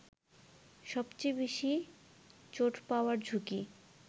সবচে বেশি চোট পাওয়ার ঝুঁকি